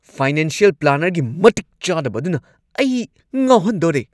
Financial ꯄ꯭ꯂꯥꯅꯔꯒꯤ ꯃꯇꯤꯛ ꯆꯥꯗꯕ ꯑꯗꯨꯅ ꯑꯩ ꯉꯥꯎꯍꯟꯗꯣꯔꯦ ꯫